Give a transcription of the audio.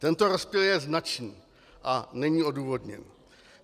Tento rozptyl je značný a není odůvodněný.